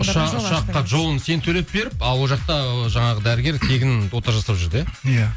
ұшаққа жолын сен төлеп беріп ал ол жақта ы жаңағы дәрігер тегін ота жасап жүрді иә иә